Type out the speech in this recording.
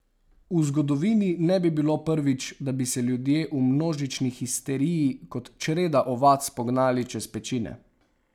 V zgodovini ne bi bilo prvič, da bi se ljudje v množični histeriji kot čreda ovac pognali čez pečine.